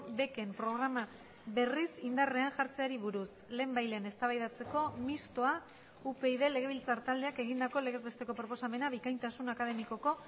beken programa berriz indarrean jartzeari buruz lehenbailehen eztabaidatzeko mistoa upyd legebiltzar taldeak egindako legez besteko proposamena bikaintasun akademikoko